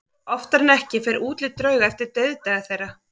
Oftar en ekki fer útlit drauga eftir dauðdaga þeirra.